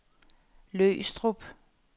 Løgstrup